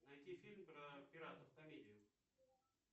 найти фильм про пиратов комедию